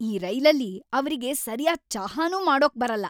ಈ ರೈಲಲ್ಲಿ ಅವ್ರಿಗೆ ಸರ್ಯಾದ್ ಚಹಾನೂ ಮಾಡೋಕ್‌ ಬರಲ್ಲ!